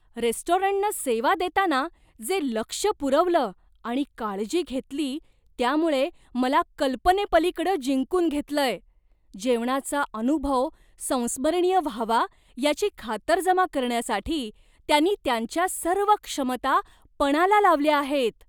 रेस्टॉरंटनं सेवा देताना जे लक्ष पुरवलं आणि काळजी घेतली त्यामुळे मला कल्पनेपलीकडं जिंकून घेतलंय, जेवणाचा अनुभव संस्मरणीय व्हावा याची खातरजमा करण्यासाठी त्यांनी त्यांच्या सर्व क्षमता पणाला लावल्या आहेत.